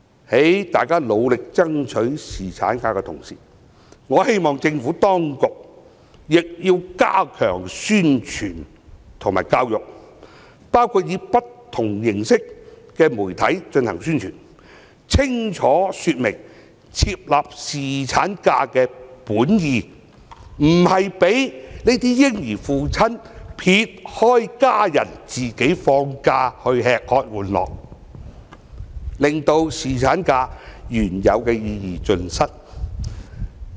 在大家努力爭取侍產假的同時，我希望政府當局亦要加強宣傳和教育，包括以不同形式的媒體進行宣傳，清楚說明設立侍產假的本意，不是讓這些嬰兒的父親撇開家人自己放假去"吃喝玩樂"，令侍產假的原有意義盡失。